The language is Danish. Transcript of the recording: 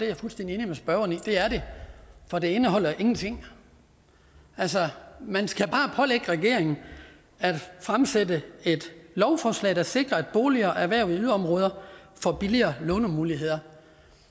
jeg fuldstændig enig med spørgeren i det er det for det indeholder ingenting man skal bare pålægge regeringen at fremsætte et lovforslag der sikrer at boliger erhvervet i yderområder får billigere lånemuligheder